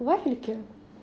вафельки